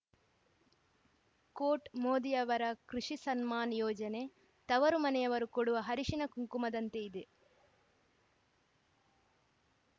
coat ಮೋದಿಯವರ ಕೃಷಿ ಸಮ್ಮಾನ್‌ ಯೋಜನೆ ತವರುಮನೆಯವರು ಕೊಡುವ ಹರಿಶಿಣ ಕುಂಕುಮದಂತೆ ಇದೆ